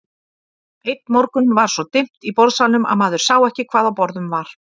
Einn morgun var svo dimmt í borðsalnum að maður sá ekki hvað á borðum var.